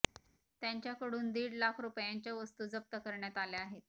त्यांचाकडून दीड लाख रुपयांच्या वस्तू जप्त करण्यात आल्या आहेत